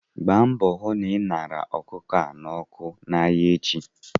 Gba mbọ hu na ị zụrụ ọkụkọ a ṅara n'ọkụ n'ahịa echi!